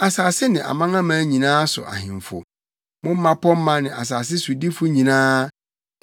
asase ne amanaman nyinaa so ahemfo, mo mmapɔmma ne asase sodifo nyinaa,